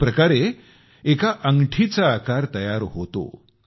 अशाप्रकारे एका अंगठीचा आकार तयार होतो